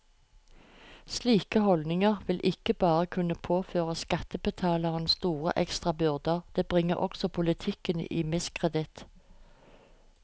Slike holdninger vil ikke bare kunne påføre skattebetalerne store ekstra byrder, det bringer også politikken i miskreditt.